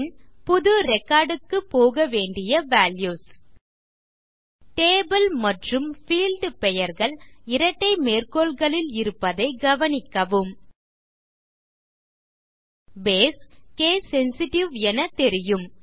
பின் புது ரெக்கார்ட் க்கு போக வேண்டிய வால்யூஸ் டேபிள் மற்றும் பீல்ட் பெயர்கள் இரட்டை மேற்கோள்களில் இருப்பதை கவனிக்கவும் பேஸ் கேஸ் சென்சிட்டிவ் என தெரியும்